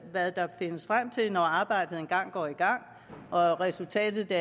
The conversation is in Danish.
hvad der findes frem til når arbejdet engang går i gang og resultatet